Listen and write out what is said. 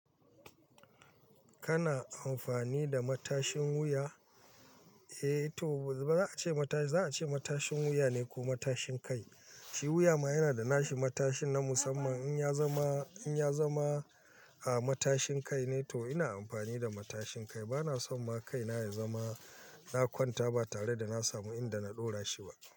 Kana amfani da matashin wuya? Ce matashi, za a ce matashin wuya ne ko matashin kai? Shi wuya ma yana da nashi matashin na musamman in ya zama, in ya zama, ah matashin kai ne to ina amfani da matashin kai. Bana son ma kai na ya zama na kwanta ba tare da na samu inda na ɗora shi ba.